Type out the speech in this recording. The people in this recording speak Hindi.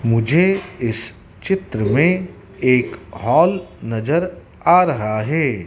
मुझे इस चित्र में एक हॉल नजर आ रहा है।